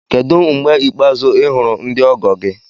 Kedu mgbe ikpeazụ ị hụrụ ndị ọgọ gị?